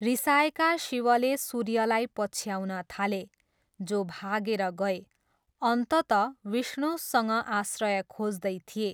रिसाएका शिवले सुर्यलाई पछ्याउन थाले, जो भागेर गए। अन्ततः विष्णुसँग आश्रय खोज्दै थिए।